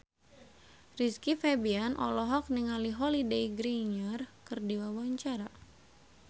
Rizky Febian olohok ningali Holliday Grainger keur diwawancara